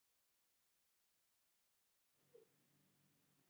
Blessuð sé minning Halla.